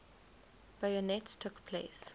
bayonets took place